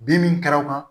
Bi min kɛra kan